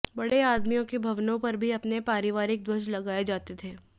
बड़े आदमियों के भवनों पर भी अपने पारिवारिक ध्वज लगाए जाते थे